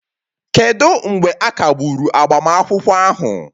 kedu mgbe a kagburu agbamakwụkwọ ahụ?